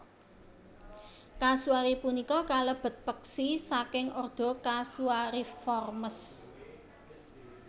Kasuari punika kalebet peksi saking ordo Casuariiformes